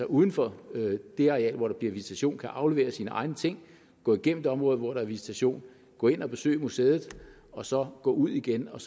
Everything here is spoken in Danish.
uden for det areal hvor der er visitation kan aflevere sine egne ting gå igennem det område hvor der er visitation gå ind og besøge museet og så gå ud igen og